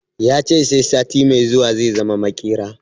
Ya ce sai sati mai zuwa zai zama maƙera